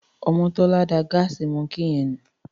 Omotola dá Gas monkey yen nù.